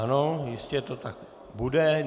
Ano, jistě to tak bude.